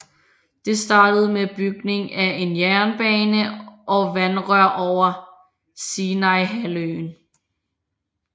Det startede med bygning af en jernbane og vandrør over Sinaihalvøen